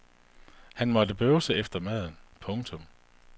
Han måtte bøvse efter maden. punktum